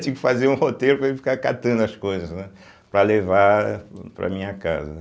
Tinha que fazer um roteiro para mim ficar catando as coisas, né, para levar para a minha casa, né.